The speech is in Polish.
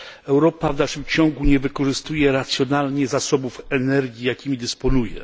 Europa w dalszym ciągu nie wykorzystuje racjonalnie zasobów energii, jakimi dysponuje.